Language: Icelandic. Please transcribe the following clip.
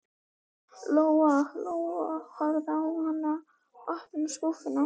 Lóa Lóa horfði á hana þegar hún opnaði skúffuna.